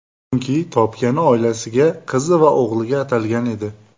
Chunki, topgani oilasiga, qizi va o‘g‘liga atalgan edi.